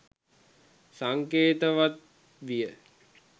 සංකේතවත් විය.